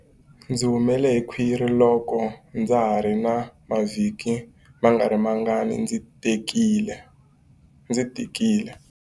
Ndzi humele hi khwiri loko ndza ha ri na mavhiki mangarimangani ndzi tikile.